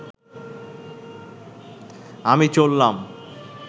আমি চললাম